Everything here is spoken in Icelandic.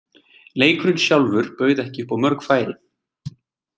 Leikurinn sjálfur bauð ekki upp á mörg færi.